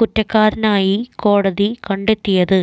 കുറ്റക്കാരനായി കോടതി കണ്ടെത്തിയത്